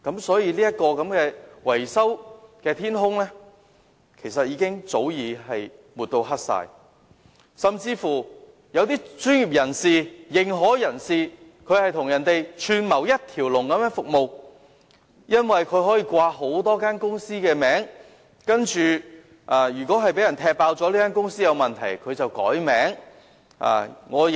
所以，這片維修的天空早已被抹黑，甚至一些專業人士或認可人士更與人串謀提供一條龍服務，因為他們可以利用多間公司的名字，即使他們的公司被揭露有問題，便更改公司名字。